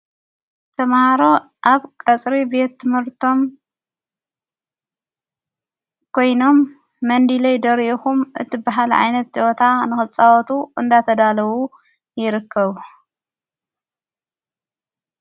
ተማሃሮ ኣብ ቀጽሪ ቤት ትምርቶም ጐይኖም መንዲለይ ደርየኹም እቲበሃል ዓይነት ፀወታ ንወፃወቱ እንዳተዳለዉ ይርከቡ።